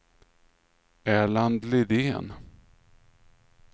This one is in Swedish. Erland Lidén